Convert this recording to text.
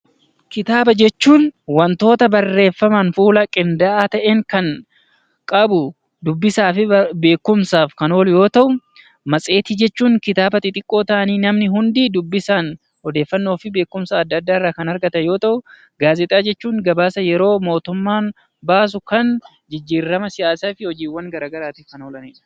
Kitaaba jechuun waantota barreeffaman fuula qindaa'aa ta'een kan qabu dubbisaa fi beekumsaaf yoo ta'u, matseetii jechuun kitaaba xixiqqoo ta'anii namni hundi dubbisaan odeeffannoo fi beekumsa addaa addaa irraa kan argatan yemmuu ta'u, gaazeexaa jechuun gabaasa yeroo mootummaan baasu kan mootummaan siyaasaa fi hojiiwwan garaagaraatiif oolanidha.